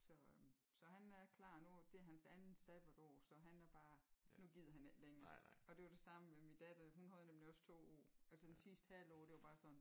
Så så han er klar nu og det er hans andet sabbatår så han er bare nu gider han ikke længere og det var det samme med mit datter hun havde nemlig også 2 år og så den sidste halve år det var bare sådan